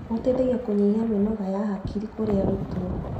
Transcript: Ũteithagia kũnyihia mĩnoga ha hakiri kũrĩ arutwo.